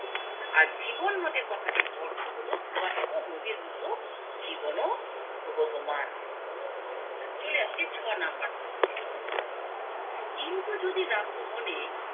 আর জীবন নদের কথাটির অর্থ হলো নদীর মতো জীবন ও প্রবহমান চলে আসছি ছয় নাম্বার প্রশ্নে কিন্তু যদি রাখো মনে